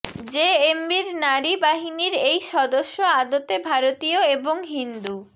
জেএমবির নারী বাহিনীর এই সদস্য আদতে ভারতীয় এবং হিন্দু